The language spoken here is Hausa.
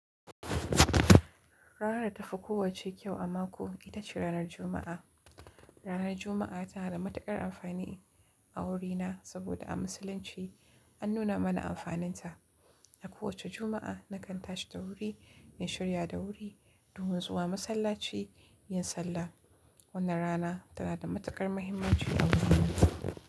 Rana ta fi kowacce kyau a mako, ita ce ranar Juma'a. Ranar Juma'a tana da matuƙar amfani a wurina saboda a Musulunci an nuna mana amfaninta. A kowace Juma'a, nakan tashi da wuri in shirya da wuri domin zuwa masallaci in sallah. Wannan rana tana da matuƙar muhimmanci a wurina.